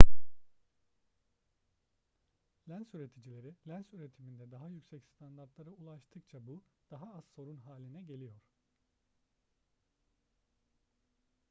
lens üreticileri lens üretiminde daha yüksek standartlara ulaştıkça bu daha az sorun haline geliyor